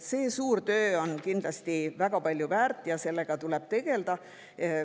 See suur töö on kindlasti väga palju väärt ja sellega tuleb tegelda.